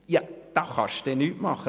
Da kann man nichts machen.